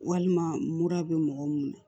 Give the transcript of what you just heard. Walima mura bɛ mɔgɔ mun na